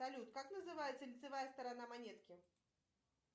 салют как называется лицевая сторона монетки